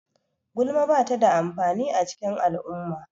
Gulma ba ta da amfani a cikin al'umma.